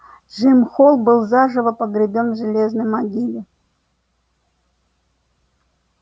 джим холл был заживо погребён в железной могиле